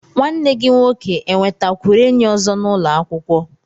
Nwanne gi nwoke enwetakwuru enyi ozo n'ulo akwukwo